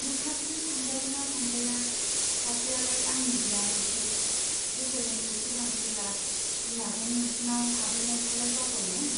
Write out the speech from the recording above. नोंहासो थांजायो ना थांजाया , सासेयालाय आंनि बियानैसो , बोसोरनैसो सिगां फैब्ला बिमाजों नोंसिनाव हाबहैनायखौलाय बावबाय नों ?